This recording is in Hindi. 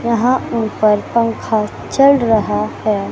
यहाँ ऊपर पंखा चल रहा है।